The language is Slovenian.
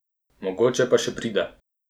Mogoče pa še pride.